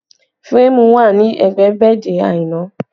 Férémù wà ní ẹgbẹ́ bẹ́ẹ̀dì Aina